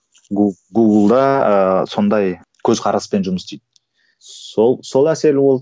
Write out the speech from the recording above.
гугл да ыыы сондай көзқараспен жұмыс істейді сол сол әсері болды